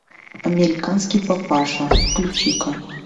американский папаша включи ка